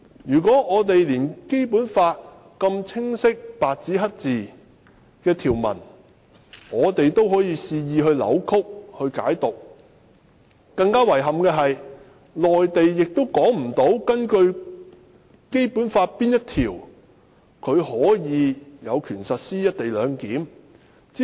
不過，我們連《基本法》內白紙黑字清楚訂明的條文也肆意扭曲及解讀，甚至更遺憾的是，連內地亦無法指出是根據《基本法》哪一項條文有權在香港實施"一地兩檢"。